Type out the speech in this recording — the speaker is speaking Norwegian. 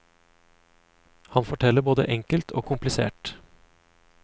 Han forteller både enkelt og komplisert.